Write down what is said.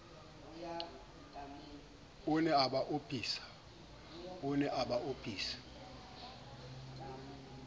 o ne a ba opisa